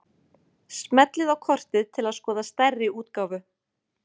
Smellið á kortið til að skoða stærri útgáfu.